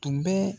Tun bɛ